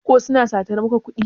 ko suna satar maka kudi?